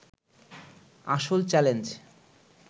আসল চ্যালেঞ্জ